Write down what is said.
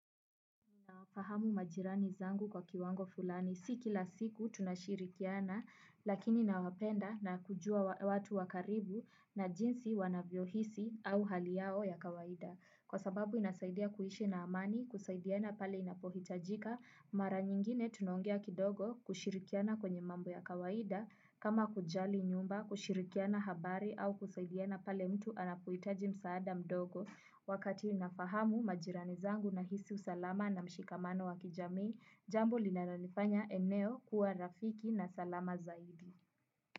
Fahamu majirani zangu kwa kiwango fulani, si kila siku tunashirikiana lakini nawapenda na kujua watu wa karibu na jinsi wanavyo hisi au hali yao ya kawaida. Kwa sababu inasaidia kuishi na amani, kusaidiana pale inapohitajika, mara nyingine tunaongea kidogo kushirikiana kwenye mambo ya kawaida, kama kujali nyumba, kushirikiana habari au kusaidiana pale mtu anapohitaji msaada mdogo. Wakati inafahamu majirani zangu na hisi usalama na mshikamano wa kijami, jambo linalo lifanya eneo kuwa rafiki na salama zaidi.